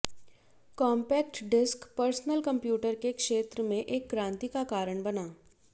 compact disc personal computer के क्षेत्र में एक क्रांति का कारण बना